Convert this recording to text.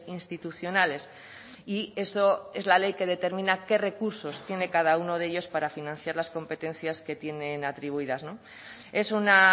institucionales y eso es la ley que determina qué recursos tiene cada uno de ellos para financiar las competencias que tienen atribuidas es una